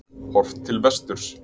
Horft til vesturs.